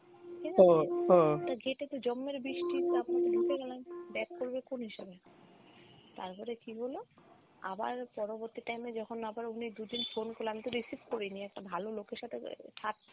ঠিকাছে তা জম্মের বৃষ্টি তারপর তো ঢুকে গেলাম back করবে কোন হিসাবে? তারপরে কি হল আবার পরবর্তী time এ যখন আবার ও মেয়ে দুদিন phone করল আমি তো received করি নি একটা ভাল লোকের সাথে